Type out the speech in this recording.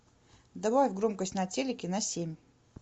добавь громкость на телике на семь